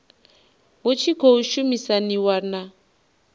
hu tshi khou shumisaniwa na